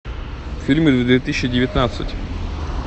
фильмы две тысячи девятнадцать